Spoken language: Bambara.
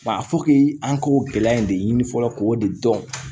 Wa a fɔ k'i an k'o gɛlɛya in de ɲini fɔlɔ k'o de dɔn